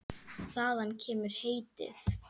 Þaðan kemur heitið.